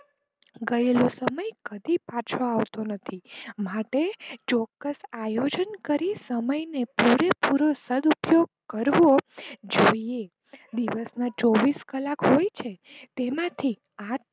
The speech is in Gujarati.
ગયેલો સમય કદી પાછો આવતો નથી, માટે ચોક્કસ આયોજન કરી સમય ને પુરે પૂરો સદ્ઉપયોગ કરવો જોઈએ દિવસ માં ચોવીસ કલાક હોય છે તેમાંથી આઠ